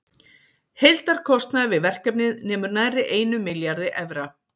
Heildarkostnaður við verkefnið nemur nærri einum milljarði evra.